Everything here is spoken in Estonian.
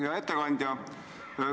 Hea ettekandja!